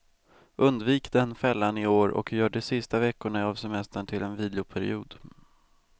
Undvik den fällan i år och gör de sista veckorna av semestern till en viloperiod.